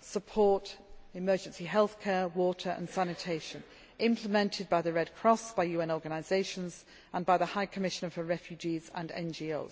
support, emergency health care, water and sanitation, implemented by the Red Cross, by UN organisations and by the High Commissioner for Refugees, as well